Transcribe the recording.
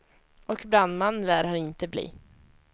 Och brandman lär han inte bli.